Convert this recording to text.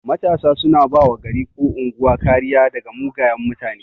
Matasa suna bawa gari ko unguwa kariya daga mugayan mutane